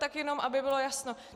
Tak jenom aby bylo jasno.